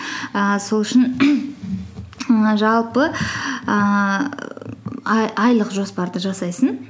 ііі сол үшін ііі жалпы ііі айлық жоспарды жасайсың